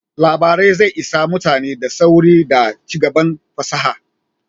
Labarai zai isa mutane da sauri da cigaban fasaha